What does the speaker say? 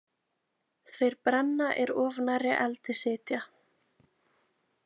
Þeir brenna er of nærri eldi sitja.